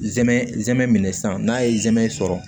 Zɛmɛ zɛmɛ minɛ san n'a ye zɛmɛ sɔrɔ